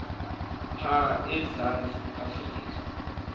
pha emzantsi afrika